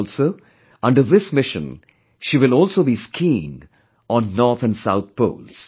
Also, under this mission she will also be skiing on North and South poles